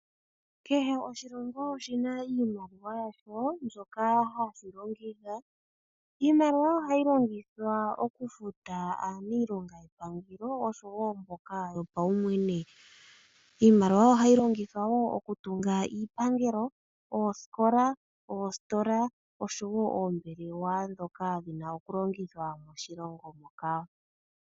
Kehe oshilongo oshi na iimaliwa yasho mbyoka hashi longitha. Iimaliwa ohayi longithwa okufuta aanilonga yepangelo oshowo mboka yo paumwene. Iimaliwa ohayi longithwa wo okutunga iipangelo, ooskola, oostola oshowo oombelewa ndhoka dhi na okulongithwa moshilongo moka.